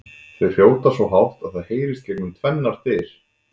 Þau hrjóta svo hátt að það heyrist gegnum tvennar dyr!